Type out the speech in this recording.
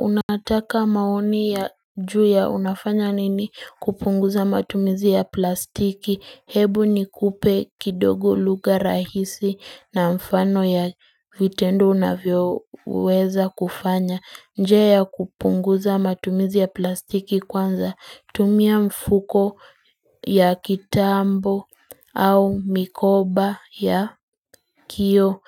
Unataka maoni ya juu ya unafanya nini kupunguza matumizi ya plastiki hebu nikupe kidogo lugha rahisi na mfano ya vitendo unavyoweza kufanya. Njia ya kupunguza matumizi ya plastiki kwanza tumia mfuko ya kitambo au mikoba ya kio